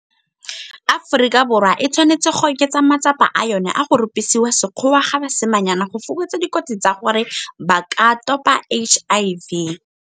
Aforika Borwa e tshwanetse go oketsa matsapa a yona a go rupisiwa sekgowa ga basimanyana go fokotsa dikotsi tsa gore ba ka topa HIV.